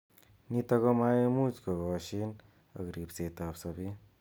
Nitok komaimuch kokoshin ak ribset ab sabet.